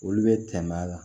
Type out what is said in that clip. Olu bɛ tɛmɛ a la